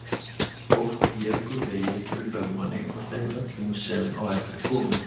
Fólk vék úr vegi fyrir lögmanni og þeim öllum sem á eftir komu.